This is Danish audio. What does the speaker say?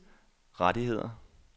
rettigheder